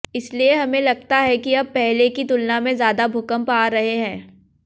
इसलिए हमें लगता है कि अब पहले की तुलना में ज्यादा भूकंप आ रहे हैं